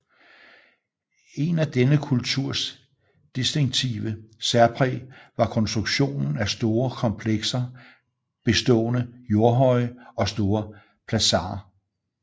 En af denne kulturs distinktive særpræg var konstruktionen af store komplekser bestående Jordhøje og store plazaer